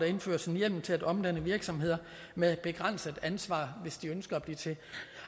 indføres en hjemmel til at omdanne virksomheder med begrænset ansvar hvis de ønsker at blive til